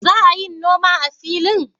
Za a yin noma a filin?